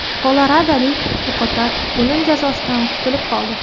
Koloradolik o‘qotar o‘lim jazosidan qutulib qoldi.